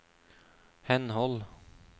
henhold